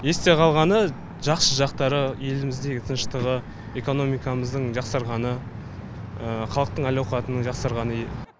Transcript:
есте қалғаны жақсы жақтары еліміздегі тыныштығы экономикамыздың жақсарғаны халықтың әл ауқатының жақсарғаны